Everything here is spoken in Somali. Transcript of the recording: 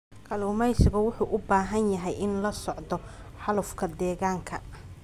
Kalluumeysigu wuxuu u baahan yahay inuu la socdo xaalufka deegaanka.